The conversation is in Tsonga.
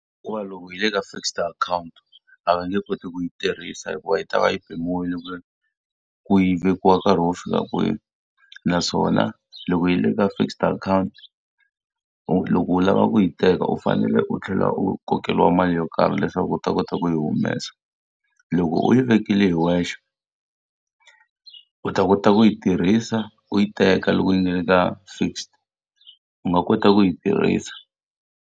Hikuva loko yi ri eka fixed account, a va nge koti ku yi tirhisa hikuva yi ta va yi pimiwile ku yi vekiwa nkarhi wo fika kwihi. Naswona loko yi ri eka fixed account u loko u lava ku yi teka u fanele u tlhela u kokeriwa mali yo karhi leswaku u ta kota ku yi humesa. Loko u yi vekile hi wexe, u ta kota ku yi tirhisa, u yi teka loko yi nga ri ka fixed. U nga kota ku yi tirhisa.